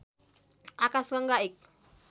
आकाशगङ्गा एक